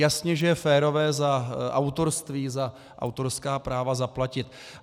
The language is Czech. Jasně že je férové za autorství, za autorská práva zaplatit.